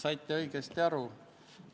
Aitäh!